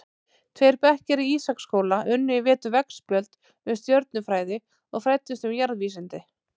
Tveir bekkir í Ísaksskóla unnu í vetur veggspjöld um stjörnufræði og fræddust um jarðvísindi.